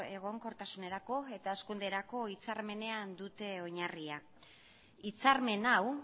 egonkortasunerako eta hazkunderako hitzarmenean dute oinarria hitzarmen hau